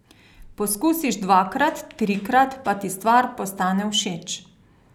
Poskusiš dvakrat, trikrat, pa ti stvar postane všeč.